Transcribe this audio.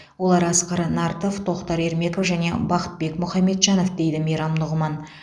олар асқар нартов тоқтар ермеков және бақытбек мұхамеджанов дейді мейрам нұғыман